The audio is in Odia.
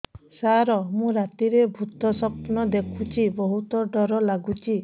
ସାର ମୁ ରାତିରେ ଭୁତ ସ୍ୱପ୍ନ ଦେଖୁଚି ବହୁତ ଡର ଲାଗୁଚି